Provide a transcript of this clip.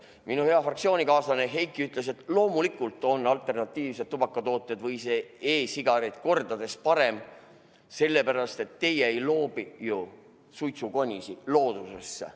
Minu hea fraktsioonikaaslane Heiki ütles, et loomulikult on alternatiivsed tubakatooted või e-sigarid kordades parem variant, sest nende puhul ju ei loobita suitsukonisid loodusesse.